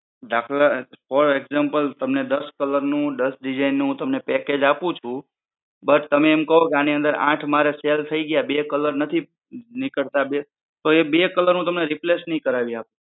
દાખલા for example તમને દસ colour નું દસ design નું તમને package આપું છું. but તમે એમ કહો કે આની અંદર આઠ મારે sale થઈ ગયા બે colour નથી નીકળતા તો એ બે colour હું તમને replace નહિ કરાવી આપું.